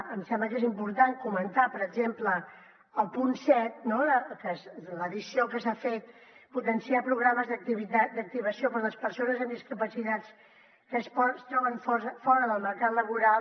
em sembla que és important comentar per exemple el punt set no que és l’addició que s’ha fet potenciar programes d’activació per a les persones amb discapacitat que es troben fora del mercat laboral